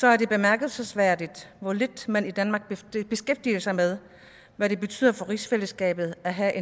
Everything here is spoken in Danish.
er det bemærkelsesværdigt hvor lidt man i danmark beskæftiger sig med hvad det betyder for rigsfællesskabet at have